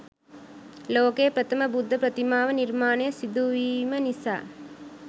ලෝකයේ ප්‍රථම බුද්ධ ප්‍රතිමා ව නිර්මාණය සිදුවීම නිසා